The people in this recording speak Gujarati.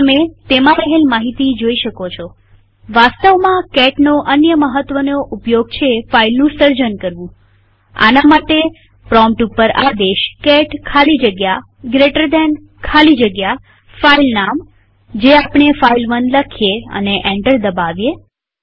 હવે તમે તેમાં રહેલ માહિતી જોઈ શકો છોવાસ્તવમાં catનો અન્ય મહત્વનો ઉપયોગ છે ફાઈલનું સર્જન કરવુંઆના માટે પ્રોમ્પ્ટ ઉપર આદેશ કેટ ખાલી જગ્યા જીટી ખાલી જગ્યા ફાઈલ નામ જે આપણે ફાઇલ1 લઈએ અને એન્ટર દબાવીએ